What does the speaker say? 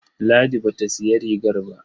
Ladi ba ta sayi rigar ba.